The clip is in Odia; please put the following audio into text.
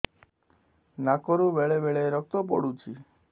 ନାକରୁ ବେଳେ ବେଳେ ରକ୍ତ ପଡୁଛି